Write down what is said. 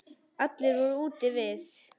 Allir voru úti við.